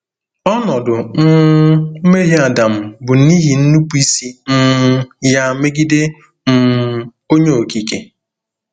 Ọnọdụ um mmehie Adam bụ n’ihi nnupụisi um ya megide um Onye Okike.